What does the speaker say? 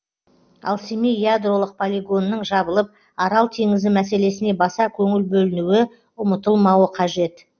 ал семей ядролық полигонының жабылып арал теңізі мәселесіне баса көңіл бөлінуі ұмытылмауы қажет